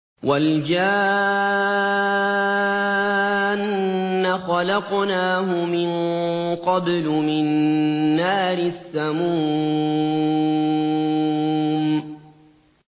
وَالْجَانَّ خَلَقْنَاهُ مِن قَبْلُ مِن نَّارِ السَّمُومِ